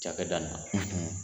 Cakɛda nin na